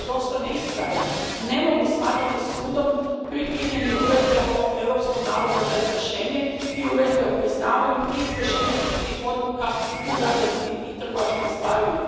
vjerodostojne isprave, ne mogu smatrati sudom pri primjeni Uredbe o europskom nalogu za izvršenje i Uredbe o priznavanju i izvršenju sudskih odluka u građanskim i trgovačkim stvarima.